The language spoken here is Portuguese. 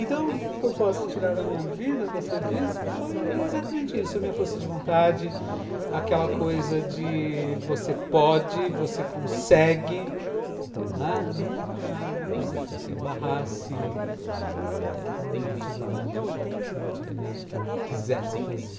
Então, o que eu posso tirar da minha vida, você disse, foi exatamente isso, a minha força de vontade, aquela coisa de você pode, você consegue, não é? nunca uma coisa que te barrasse, uma atividade qual, em uma atividade que e eu quisesse fazer.